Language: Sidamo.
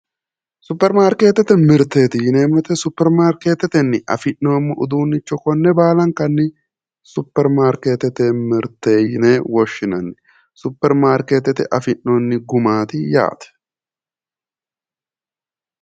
Superimaarkeetete mirteeti yineemmo wote Superimaarkeetetenni afi'noommo uduunnicho konne baalankanni Superimaarkeetete mirte yine woshshinanniSuperimaarkeetete afi'noonni gumaati yaate.